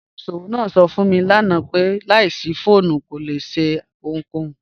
Olùṣọwọ naa sọ̀ fún mi lànà pé láìṣí fọ̀ọ̀mù kò lè ṣẹ̀ ohunkòhun.